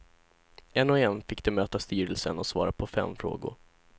En och en fick de möta styrelsen och svara på fem frågor.